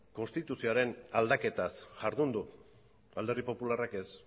konstituzioaren aldaketaz jardun du alderdi popularrak ez